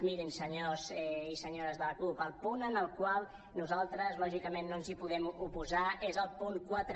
mirin senyors i senyores de la cup el punt al qual nosaltres lògicament no ens podem oposar és el punt quatre